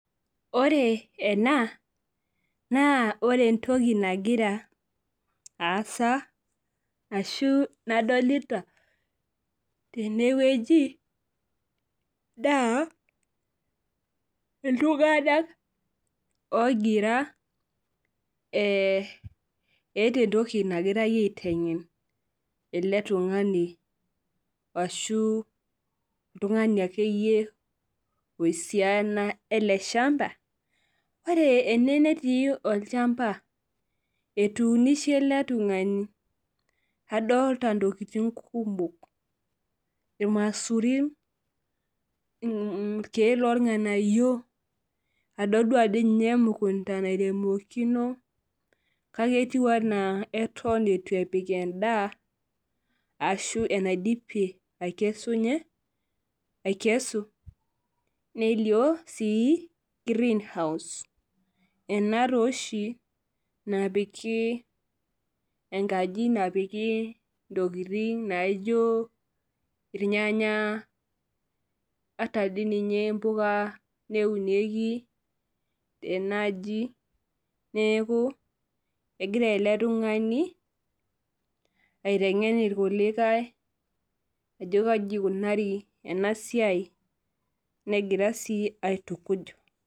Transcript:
Ore ena naa ore entoki nagira aasa ashu nadolita teneweji, naa iltunganak ogira eeta entoki nagirae aitengen ele tungani ashu oltungani oisuyana ele shampa. Ore ene netii ochampa etuunishe ele tungani ,edolita ntokiting kumok irmasurin, irkeek lornganayio adolita emukunta aniremokino kake etiu enaa eton eitu epik endaa ashu enaidipie aikesunyie, nelio greenhouse. Ena taa oshi napiki ,enkaji napiki ntokiting naijo irnyanya neunieki siininche impuka neeku egira ele tungani aitengen irkulikae ajo kaji eikunari ena siai negira sii aitukuj.